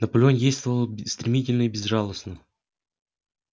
наполеон действовал стремительно и безжалостно